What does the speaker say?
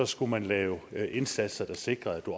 skulle man lave indsatser der sikrede at